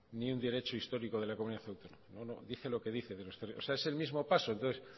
ni un derecho histórico de la comunidad autónoma dice lo que dice o sea es el mismo paso entonces